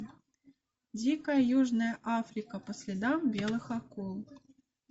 дикая южная африка по следам белых акул